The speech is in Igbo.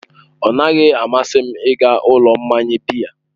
Ọnaghị amasị m ịga ụlọ mmanya biya.